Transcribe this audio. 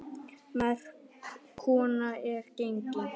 Merk kona er gengin.